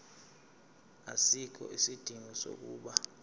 asikho isidingo sokuba